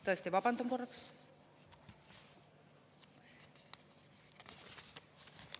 Tõesti, vabandan korraks.